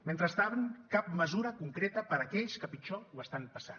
mentrestant cap mesura concreta per a aquells que pitjor ho estan passant